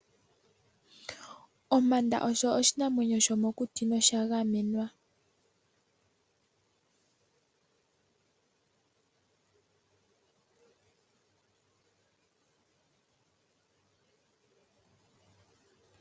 Ompanda osho oshinyamwenyo shomokuti no sha gamenwa.